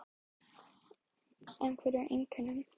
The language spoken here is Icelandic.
En hver eru einkennin?